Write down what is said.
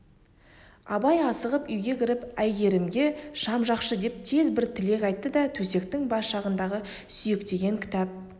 абай асығып үйге кіріп әйгерімге шам жақшы деп тез бір тілек айтты да төсектің бас жағындағы сүйектеген кітап